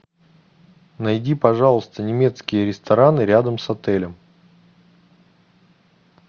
найди пожалуйста немецкие рестораны рядом с отелем